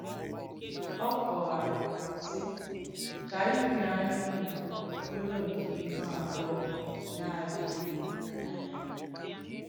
Ọ kọ̀wàrà, sị: “Kà ìhùnànyà unu bùrù nke ihú àbùọ̀ na-adị̀ghì n’̀ya.”